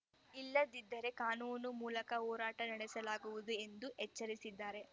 ಇಲ್ಲದಿದ್ದರೆ ಕಾನೂನು ಮೂಲಕ ಹೋರಾಟ ನಡೆಸಲಾಗುವುದು ಎಂದು ಎಚ್ಚರಿಸಿದ್ದಾರೆ